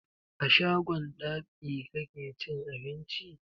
A shagon dab'i kake cin abinci?